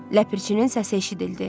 Ləpərçinin səsi eşidildi.